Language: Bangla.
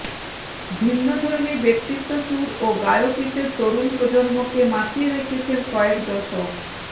ভিন্নধর্মী ব্যক্তিত্ব সুর ও গায়কিতে তরুণ প্রজন্মকে মাতিয়ে রেখেছেন কয়েক দশক